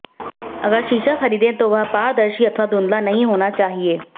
अगर शीशा ख़रीदे तो वह पारदर्शी अथवा धुंधला नहीं होना चाहिए